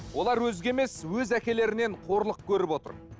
олар өзге емес өз әкелерінен қорлық көріп отыр